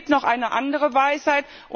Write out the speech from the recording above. Es gibt noch eine andere Weisheit.